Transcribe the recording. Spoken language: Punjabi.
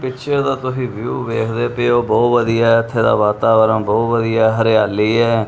ਪਿੱਛੇ ਓਹਦਾ ਤੁਸੀ ਵਿਊ ਵੇਖਦੇ ਪਏ ਹੋ ਬੋਹੁਤ ਵਧੀਆ ਹੈ ਇੱਥੇ ਦਾ ਵਾਤਾਵਰਨ ਬੋਹੁਤ ਵਧੀਆ ਹੈ ਹਰਿਆਲੀ ਹੈ।